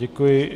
Děkuji.